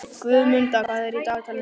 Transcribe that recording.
Guðmunda, hvað er á dagatalinu í dag?